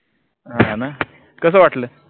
हां ना कस वाटल?